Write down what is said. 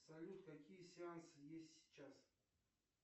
салют какие сеансы есть сейчас